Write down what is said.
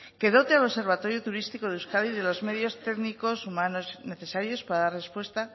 que dote al observatorio turístico de euskadi de los medios técnicos humanos necesarios para dar respuesta